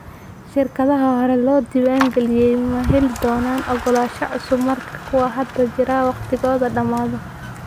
Shirkadaha horey loo diiwaangeliyey ma heli doonaan ogolaansho cusub marka kuwa hadda jira waqtigooda dhamaado.